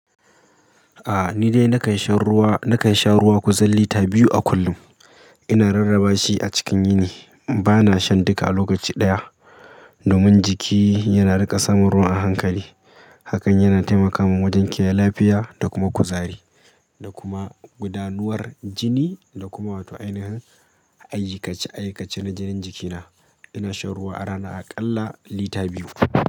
Aa ni dai na kan sha ruwa, na kan sha ruwa kuzal lita biyu a kullum. Ina rarraba shi a cikin yini. Ba na shan duka a lokaci ɗaya ba domin jiki yana riƙa sanan ruwa a hankali. Hakan yana taimaka min wajen kiyaye lafiya da kuma kuzari da kuma gudanar jini da kuma wato ainihin aikace aikace na jinin jikina. Ina shan ruwa a rana aƙalla lita biyu.